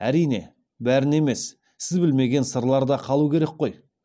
әрине бәрін емес сіз білмеген сырлар да қалу керек қой